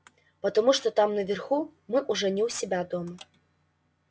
потому что там наверху мы уже не у себя дома